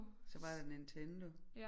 Så var der Nintendo